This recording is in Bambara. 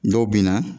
Dɔw bɛ na